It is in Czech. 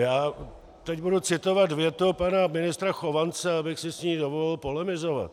Já teď budu citovat větu pana ministra Chovance, abych si s ní dovolil polemizovat.